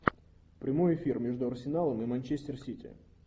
прямой эфир между арсеналом и манчестер сити